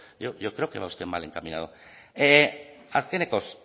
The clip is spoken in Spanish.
yo creo que va usted mal encaminado azkenekoz